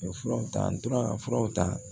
U ye furaw ta n tora ka furaw ta